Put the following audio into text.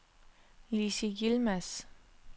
Lizzi Yilmaz